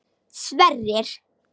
Sverrir